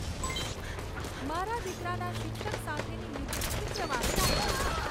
મારા દીકરાના શિક્ષક સાથેની મિટિંગ શુક્રવારે રાખો